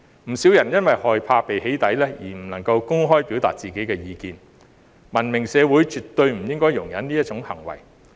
不少人因為害怕被"起底"而不能夠公開表達自己的意見，文明社會絕對不應該容忍這種行為。